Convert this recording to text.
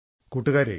കൂട്ടുകാരെ